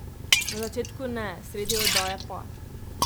Na začetku ne, sredi oddaje pa.